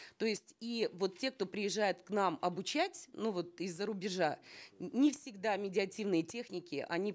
то есть и вот те кто приезжает к нам обучать ну вот из за рубежа не всегда медиативные техники они